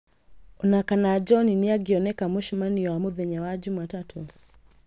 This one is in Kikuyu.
Ona kana John nĩ angĩoneka mũcemanio wa mũthenya wa jumatatũ